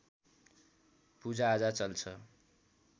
पूजाआजा चल्छ